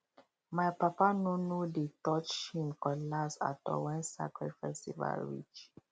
my papa no no dey touch him um cutlass at all when sacred um festival reach